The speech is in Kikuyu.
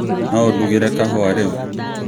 no ūndugire kahūwa rīu